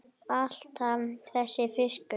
Alltaf þessi fiskur.